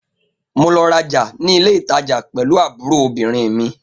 Mo lọ raja ni ile itaja pẹlu aburo obirin mi.